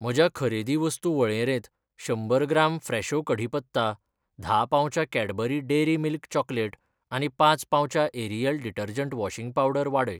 म्हज्या खरेदी वस्तू वळेरेंत शंबर ग्राम फ्रेशो कढीपत्ता, धा पाउचां कैडबरी डेअरी मिल्क चॉकलेट आनी पांच पाउचां एरियल डिटर्जंट वॉशिंग पावडर वाडय.